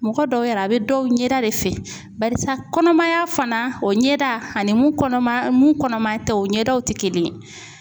Mɔgɔ dɔw yɛrɛ a bɛ dɔw ɲɛda de fɛ barisa kɔnɔmaya fana o ɲɛda ani mun kɔnɔma mun kɔnɔma tɛ o ɲɛdaw tɛ kelen ye.